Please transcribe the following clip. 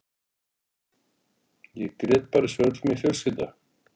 Ég grét bara eins og öll mín fjölskylda.